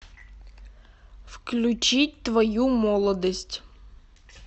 включить твою молодость